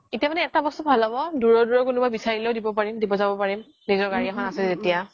এতিয়া মানে এটা বস্তু ভাল হ্'ব দুৰৰ দুৰৰ কোনোবা বিচাৰিলেও দিব পাৰিম দিব যাব পাৰিম নিজৰ গাৰি এখন আছে যেতিয়া